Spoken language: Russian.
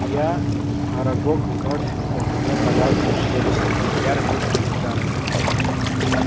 я арагог вновь гневно лязгнул челюстями я родился не в замке